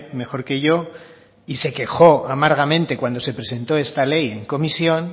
mejor que yo y se quejó amargamente cuando se presentó esta ley en comisión